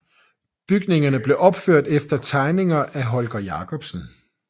Bygningerne blev opført efter tegninger af Holger Jacobsen